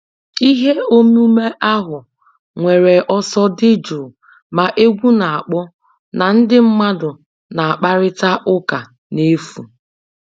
Ihe omume ahụ nwere ọsọ dị jụụ, ma egwu na-akpọ na ndị mmadụ na-akparịta ụka n'efu.